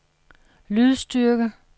lydstyrke